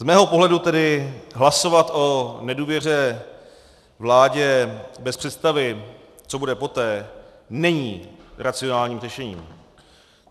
Z mého pohledu tedy hlasovat o nedůvěře vládě bez představy, co bude poté, není racionálním řešením.